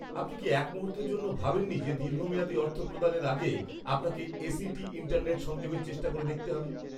আপনি কি এক মুহূর্তের জন্যও ভাবেননি যে দীর্ঘমেয়াদী অর্থ প্রদানের আগে আপনাকে এসিটি ইন্টারনেট সংযোগের চেষ্টা করে দেখতে হবে?